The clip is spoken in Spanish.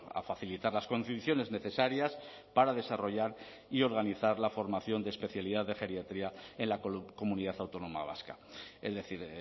a facilitar las condiciones necesarias para desarrollar y organizar la formación de especialidad de geriatría en la comunidad autónoma vasca es decir